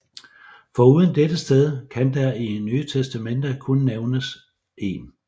Foruden dette sted kan der i Nye Testamente kun nævnes 1